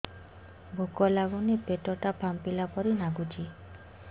ଭୁକ ଲାଗୁନି ପେଟ ଟା ଫାମ୍ପିଲା ପରି ନାଗୁଚି